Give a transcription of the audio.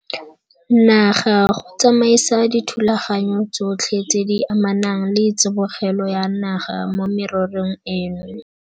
Naga go tsamaisa dithulaganyo tsotlhe tse di amanang le tsibogelo ya naga mo mererong eno.